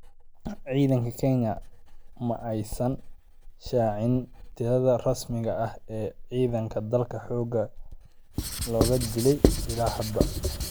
Ciidanka Kenya ma aysan shaacin tirada rasmiga ah ee cidanka dalka xoga looga dilay illaa hadda.